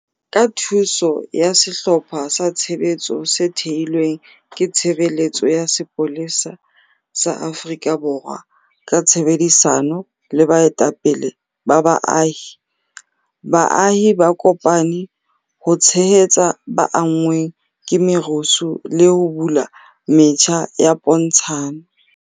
Ka thuso ya sehlopha sa tshebetso se thehilweng ke Tshebeletso ya Sepolesa sa Afrika Borwa ka tshebedisano le baetapele ba baahi, baahi ba kopane ho tshehetsa ba anngweng ke merusu le ho bula metjha ya pontshano.